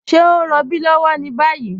Ṣẹ̀ o n rọ̀bí lọ́wọ́ ni bayi?